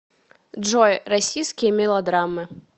джой российские мелодраммы